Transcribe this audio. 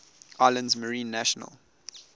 islands marine national